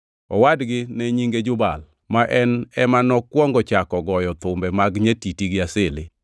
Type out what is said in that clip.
Owadgi ne nyinge Jubal, ma en ema nokwongo chako goyo thumbe mag nyatiti gi asili.